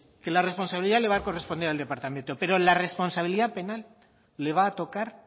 que la responsabilidad le va a corresponder al departamento pero la responsabilidad penal le va a tocar